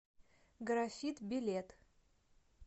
графит билет